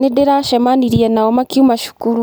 Nĩndĩracemanirie nao makiuma cukuru.